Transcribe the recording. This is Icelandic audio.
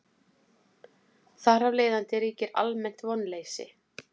Þar af leiðandi ríkir almennt vonleysi.